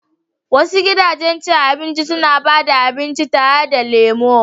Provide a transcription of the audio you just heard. Wasu gidajen cin abinci suna ba da abinci tare da lemu.